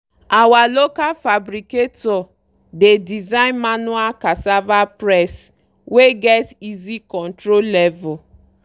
our local fabricator dey design manual cassava press wey get easy control level.